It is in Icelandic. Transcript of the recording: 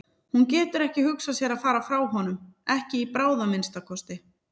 Hún getur ekki hugsað sér að fara frá honum, ekki í bráð að minnsta kosti.